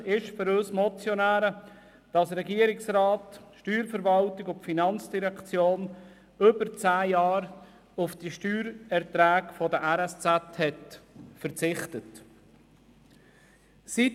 Für uns Motionäre ist unverständlich, dass Regierungsrat, Steuerverwaltung und FIN über zehn Jahre lang auf die Steuererträge der RSZ verzichtet haben.